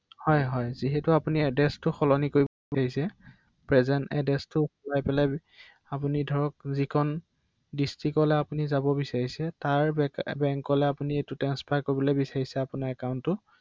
হয়